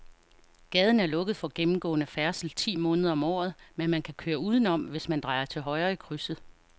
Gaden er lukket for gennemgående færdsel ti måneder om året, men man kan køre udenom, hvis man drejer til højre i krydset.